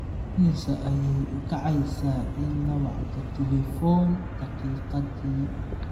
immisa ayay ku kacaysaa in la wacdo tilifoon daqiiqadii?